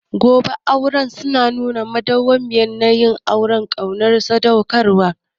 Zoben aure suna nuna madawwamiyar yanayin ƙauna da sadaukarwa.